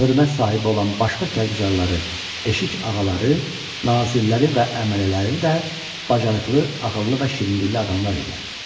Hörmət sahibi olan başqa Karguzarları, Eşik ağaları, nazirləri və əmələləri də bacarıqlı, ağıllı və şirin dillə adamlar idi.